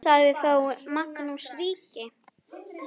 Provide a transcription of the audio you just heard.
Sagði þá Magnús ríki: